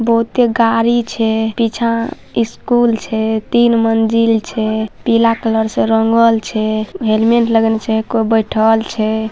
बहुते गाड़ी छै पीछा स्कूल छै तीन मंजिल छै पीला कलर से रंगल छै हेलमेट लगेने छै कोई बैठएल छै।